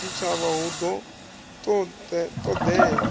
tshitshavha hu ḓo ṱo ḓea